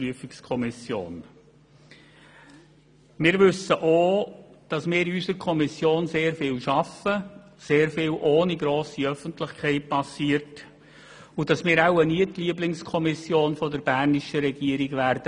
Wir wissen auch, dass wir in unserer Kommission sehr viel arbeiten, dass sehr vieles ohne grosse Öffentlichkeit geschieht, und dass wir wohl nie zur Lieblingskommission der bernischen Regierung werden.